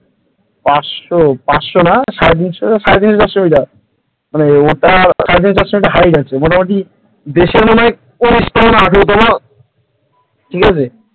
পাঁচশো পাঁচশো না সারে তিনশো চারশো মিটার মানে ওটা সারে তিনশো চারশো মিটার height আছে মোটামুটি দেশের মনে হয় উনিশ তলা না আঠেরো তলা ঠিক আছে?